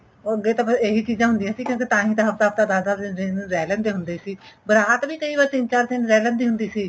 ਅੱਗੇ ਤਾਂ ਬੱਸ ਇਹੀ ਚੀਜਾਂ ਹੁੰਦੀਆਂ ਸੀ ਅਸੀਂ ਤਾਹੀ ਤਾਂ ਹੱਫ਼ਤਾ ਹੱਫ਼ਤਾ ਦਸ ਦਸ ਦਿਨ ਰਹਿ ਲੈਂਦੇ ਹੁੰਦੇ ਸੀ ਬਰਾਤ ਵੀ ਕਈ ਵਾਰੀ ਤਿੰਨ ਚਾਰ ਦਿਨ ਰਹਿ ਲੈਂਦੀ ਹੁੰਦੀ ਸੀ